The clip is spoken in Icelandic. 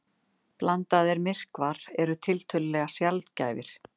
Blandaðir myrkvar eru tiltölulega sjaldgæfir.